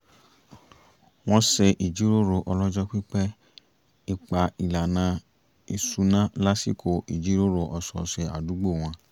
wọ́n ṣe jíròrò ọlọ́jọ́ pípẹ́ ipá ìlànà ìṣúná lásìkò ìjíròrò ọ̀sọ̀ọ̀sẹ̀ àdúgbò wọn